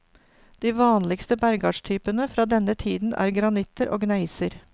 De vanligste bergartstypene fra denne tiden er granitter og gneiser.